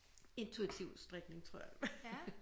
Intuitiv strikning tror jeg